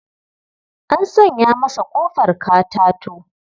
An sanya masa ƙofar katato.